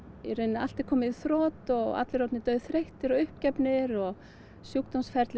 allt er komið í þrot og allir orðnir dauðþreyttir og uppgefnir og